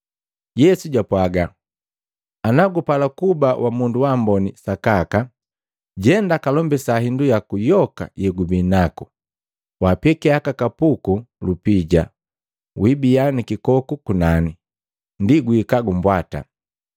Yesu jwapwaga, “Ana gupala kuba wa mundu waamboni sakaka, jenda kalombisa hindu yaku yoka yegubinaku waapekia aka kapuku lupija, wiibia na kikoku kunani, ndi guika kumbwata.”